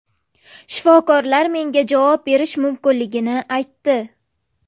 Shifokorlar menga javob berish mumkinligini aytdi.